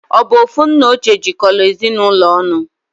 Obu ofu nna oche jikola Ezinụlọ onu?